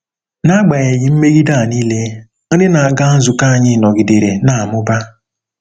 N'agbanyeghị mmegide a nile, ndị na-aga nzukọ anyị nọgidere na-amụba.